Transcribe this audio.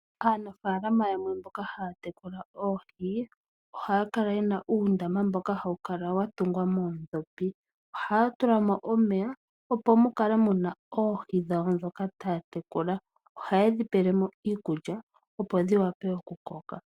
Aanafalama yamwe mboka haya tekula oohi ohaya kala yena uundama mboka hawu kala wa tungwa moodhopi. Ohaya tula mo omeya opo mu kale muna oohi dhoka taya tekula. Ohaye dhi pele mo iikulya opo dhi wape okukoka.